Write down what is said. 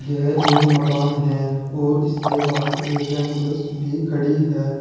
यह एक मकान है और इसके बाहर एक एंबुलेंस भी खड़ी है।